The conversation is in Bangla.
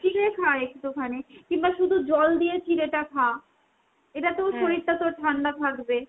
চিড়ে খা একটুখানি। কিমবা শুধু জল দিয়ে চিড়েটা খা। এটাতেও তোর ঠান্ডা থাকবে।